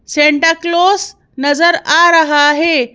Santa Claus नजर आ रहा है।